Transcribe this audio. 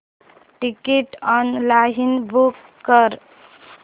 ticket online book कर